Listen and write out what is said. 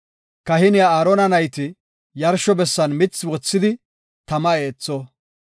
Kahiniya Aarona nayti yarsho bessan mithi wothidi tama eetho.